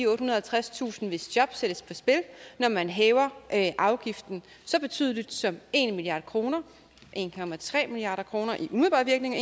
og halvtredstusind hvis job sættes på spil når man hæver afgiften så betydeligt som en milliard kroner en milliard kroner i umiddelbar virkning